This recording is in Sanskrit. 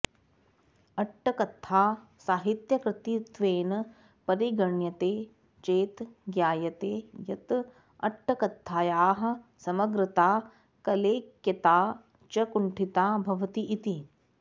अट्टक्कथा साहित्यकृतित्वेन परिगण्यते चेत् ज्ञायते यत् अट्टक्कथायाः समग्रता कलैक्यता च कुण्ठिता भवति इति